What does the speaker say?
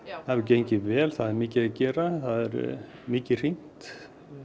það hefur gengið vel það er mikið að gera það er mikið hringt